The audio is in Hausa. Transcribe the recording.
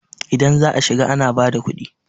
idan za a shiga ana bada kudi?